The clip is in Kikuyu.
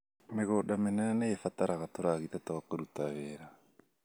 Mĩgũnda mĩnene nĩĩbataraga tũragita twa kũruta wĩra